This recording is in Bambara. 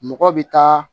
Mɔgɔ bɛ taa